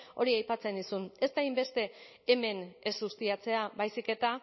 hori aipatzen nizun ez da hainbeste hemen ez ustiatzea baizik eta